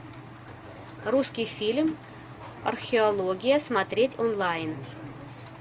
русский фильм археология смотреть онлайн